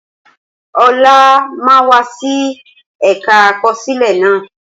Olá máa wá sí ẹ̀ka àkọsílẹ̀ naa